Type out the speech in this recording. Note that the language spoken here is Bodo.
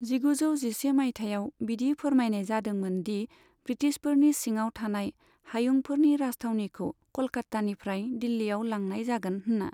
जिगुजौ जिसे माइथायाव बिदि फोरमायनाय जादोंमोन दि ब्रिटिशफोरनि सिङाव थानाय हायुंफोरनि राजथावनिखौ क'लकात्तानिफ्राय दिल्लीयाव लांनाय जागोन होनना।